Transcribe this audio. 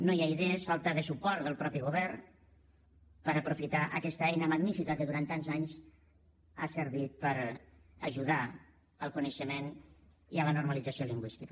no hi ha idees falta de suport del mateix govern per aprofitar aquesta eina magnífica que durant tants anys ha servit per ajudar al coneixement i a la normalització lingüística